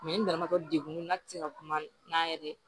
n yɛrɛ ma to degun na tɛ se ka kuma n'a yɛrɛ ye